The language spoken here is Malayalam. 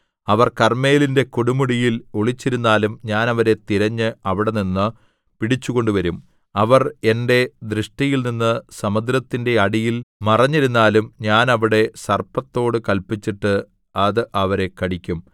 അവർ കർമ്മേലിന്റെ കൊടുമുടിയിൽ ഒളിച്ചിരുന്നാലും ഞാൻ അവരെ തിരഞ്ഞ് അവിടെനിന്ന് പിടിച്ചുകൊണ്ടുവരും അവർ എന്റെ ദൃഷ്ടിയിൽനിന്ന് സമുദ്രത്തിന്റെ അടിയിൽ മറഞ്ഞിരുന്നാലും ഞാൻ അവിടെ സർപ്പത്തോടു കല്പിച്ചിട്ട് അത് അവരെ കടിക്കും